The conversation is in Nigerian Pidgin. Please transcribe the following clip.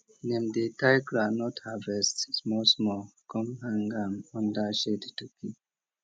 dem dey tie groundnut harvest small small come hang am under shade to keep